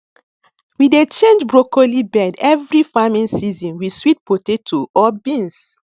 we dey change broccoli bed every farming season with sweet potato or beans